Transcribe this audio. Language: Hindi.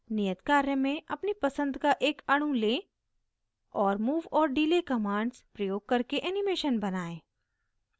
नियत कार्य में अपनी पसंद का एक अणु लें और move और delay commands प्रयोग करके animation बनाएं